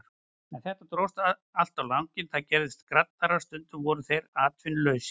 En þetta dróst allt á langinn, þeir gerðust skraddarar, stundum voru þeir atvinnulausir.